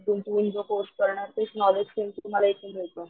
गुंतवून तो कोर्स करणार तेच नॉलेज सेम तुम्हाला इथे मिळत.